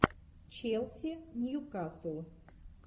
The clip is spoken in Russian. челси ньюкасл